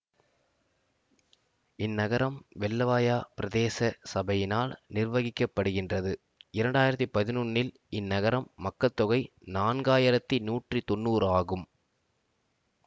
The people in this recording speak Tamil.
இந்நகரம் வெள்ளவாயா பிரதேச சபையினால் நிர்வகிக்கப்படுகின்றது இரண்டாயிரத்தி பதினொன்னில் இந்நகரின் மக்கள்தொகை நான்காயிரத்தி நூற்றி தொண்ணுறு ஆகும்